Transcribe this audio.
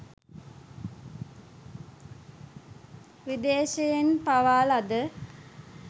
විදේශයන්හි පවා ලද